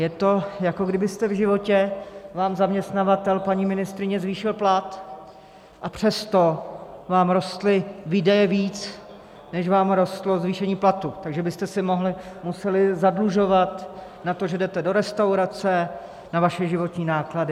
Je to, jako kdybyste v životě... vám zaměstnavatel, paní ministryně, zvýšil plat, a přesto vám rostly výdaje víc, než vám rostlo zvýšení platu, takže byste se museli zadlužovat na to, že jdete do restaurace, na vaše životní náklady.